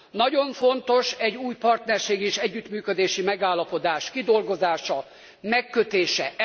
Nagyon fontos egy új partnerségi és együttműködési megállapodás kidolgozása, megkötése.